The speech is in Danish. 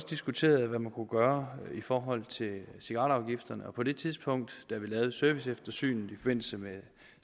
diskuterede hvad man kunne gøre i forhold til cigaretafgifterne på det tidspunkt vi lavede serviceeftersynet i forbindelse med